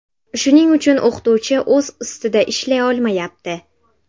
Shuning uchun o‘qituvchi o‘z ustida ishlay olmayapti.